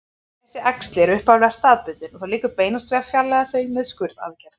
Þessi æxli eru upphaflega staðbundin og þá liggur beinast við að fjarlægja þau með skurðaðgerð.